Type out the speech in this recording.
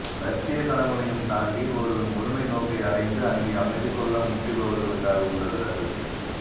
இலடிசியக்கனவுகளையும் தாண்டி ஒரு முழுமைநோக்கை அடைந்து அங்கே அமைதிகொள்ள முட்டிபவர்களுக்காக உள்ளது அது